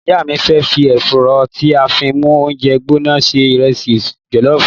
Ìyá mi fẹ fi èrò tí a fín mú oúnjẹ gbóná ṣe ìrẹsì jolofu